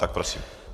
Tak prosím.